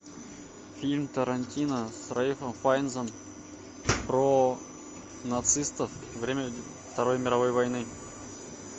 фильм тарантино с рэйфом файнсом про нацистов время второй мировой войны